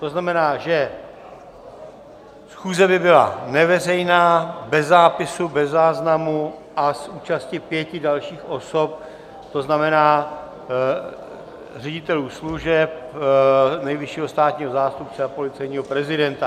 To znamená, že schůze by byla neveřejná, bez zápisu, bez záznamu a s účastí pěti dalších osob, to znamená ředitelů služeb, nejvyššího státního zástupce a policejního prezidenta.